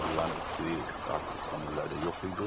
Bunların heç biri artıq son illərdə yox idi.